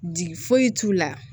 Di foyi t'u la